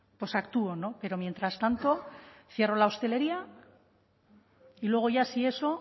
pues actúo pero mientras tanto cierro la hostelería y luego ya si eso